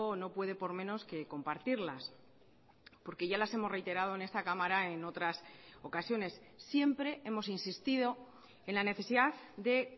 no puede por menos que compartirlas porque ya las hemos reiterado en esta cámara en otras ocasiones siempre hemos insistido en la necesidad de